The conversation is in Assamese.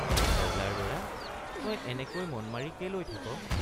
ৰজাৰ লৰা তই এনেকৈ মনমাৰি কেলৈ থাক?